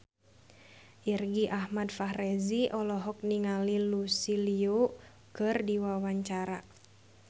Irgi Ahmad Fahrezi olohok ningali Lucy Liu keur diwawancara